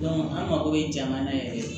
an mako bɛ jamana yɛrɛ